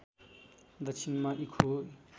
दक्षिणमा इर्खु